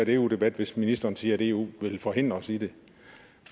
en eu debat hvis ministeren siger at eu vil forhindre os i det